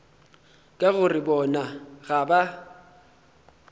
ka gore bona ga ba